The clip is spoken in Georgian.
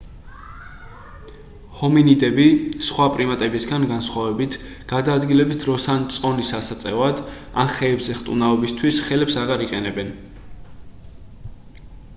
ჰომინიდები სხვა პრიმატებისაგან განსხვავებით გადაადგილების დროს ან წონის ასაწევად ან ხეებზე ხტუნაობისთვის ხელებს აღარ იყენებენ